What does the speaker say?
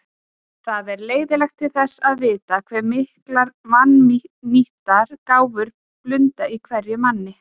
Það er leiðinlegt til þess að vita, hve miklar vannýttar gáfur blunda í hverjum manni.